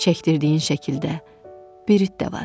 Çəkdirdiyin şəkildə bir it də var.